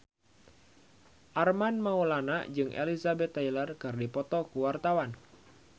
Armand Maulana jeung Elizabeth Taylor keur dipoto ku wartawan